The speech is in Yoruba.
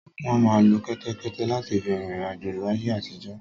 Wọ́n máa ń lo kẹ́tẹ́kẹ́té láti fi rin ìriǹ àjò láyé àtijọ́.